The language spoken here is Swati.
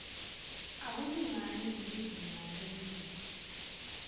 akulingani nelizinga lelulwimi